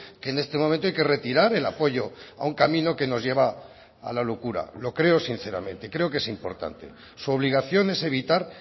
que en este momento hay que retirar el apoyo a un camino que nos lleva a la locura lo creo sinceramente creo que es importante su obligación es evitar